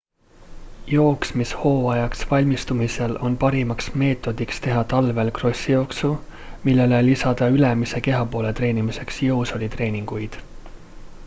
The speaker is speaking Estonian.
jooksmishooajaks valmistumisel on parimaks meetodiks teha talvel krossijooksu millele lisada ülemise kehapoole treenimiseks jõusaalitreeninguid